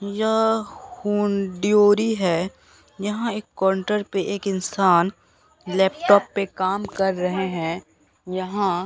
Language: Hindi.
यह हूंड्योरी है यहां एक कोन्टर पे एक इंसान लैपटॉप पे काम कर रहे हैं यहां --